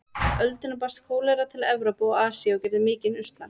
öldina barst kólera til Evrópu og Asíu og gerði mikinn usla.